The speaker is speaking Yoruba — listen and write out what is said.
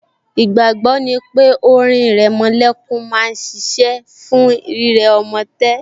Ìgbàgbọ́ ni pé orin ìrẹmolẹ́kún máa ṣiṣẹ́ fún rírẹ ọmọ tẹ́